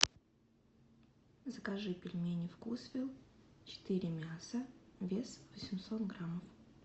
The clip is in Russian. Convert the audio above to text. закажи пельмени вкусвилл четыре мяса вес восемьсот грамм